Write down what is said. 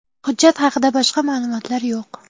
Hujjat haqida boshqa ma’lumotlar yo‘q.